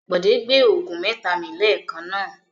Bọ̀dé gbé òògùn mẹ́ta mi lẹ́ẹ̀kan náà.